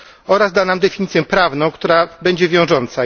oraz da nam definicję prawną, która będzie wiążąca.